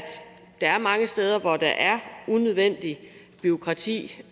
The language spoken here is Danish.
der er mange steder hvor der er unødvendigt bureaukrati